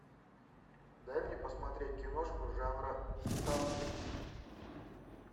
дай мне посмотреть киношку жанра саспенс